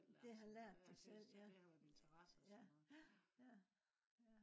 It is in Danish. de har lært det selv ja ja